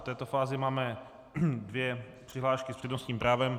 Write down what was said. V této fázi máme dvě přihlášky s přednostním právem.